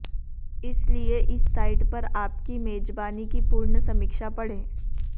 इस लिए इस साइट पर आप की मेजबानी की पूर्ण समीक्षा पढ़ें